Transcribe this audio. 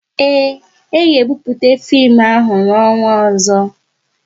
Ee, a ga-ebupute fim ahụ n'ọnwa ọzọ